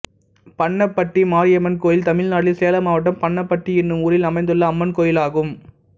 பன்னப்பட்டி மாரியம்மன் கோயில் தமிழ்நாட்டில் சேலம் மாவட்டம் பன்னப்பட்டி என்னும் ஊரில் அமைந்துள்ள அம்மன் கோயிலாகும்